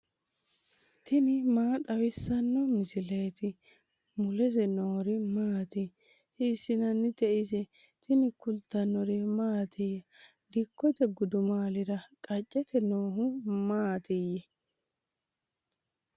tini maa xawissanno misileeti ? mulese noori maati ? hiissinannite ise ? tini kultannori mattiya? Dikkotte gudummaallira qacceette noohu maatti?